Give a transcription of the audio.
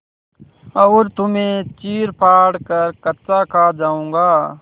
और तुम्हें चीरफाड़ कर कच्चा खा जाऊँगा